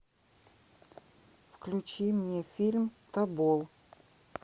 включи мне фильм тобол